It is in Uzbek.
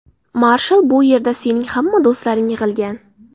Marshall, bu yerda sening hamma do‘stlaring yig‘ilgan.